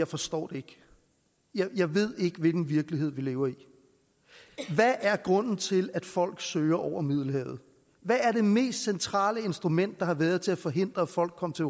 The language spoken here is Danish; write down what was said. forstår det jeg ved ikke hvilken virkelighed vi lever i hvad er grunden til at folk søger over middelhavet hvad er det mest centrale instrument der har været til at forhindre at folk kom til